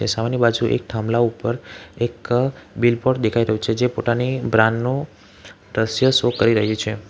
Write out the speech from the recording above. ને સામેની બાજુ એક થાંભલા ઉપર એક બિલબોર્ડ દેખાય રહ્યું છે જે પોતાની બ્રાન્ડ નુ દ્રશ્ય શો કરી રહી છે.